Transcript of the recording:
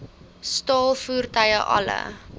staal voertuie alle